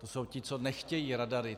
To jsou ti, co nechtějí radary.